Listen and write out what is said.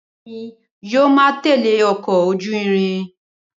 Bẹẹni yóò ma tẹle ọkọ ojú irin